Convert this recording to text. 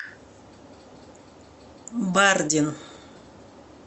бардин